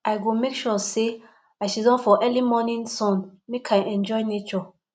i go make sure sey i siddon for early morning sun make i enjoy nature